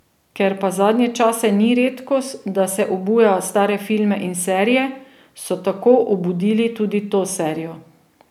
Ker pa zadnje čase ni redkost, da se obuja stare filme in serije, so tako obudili tudi to serijo.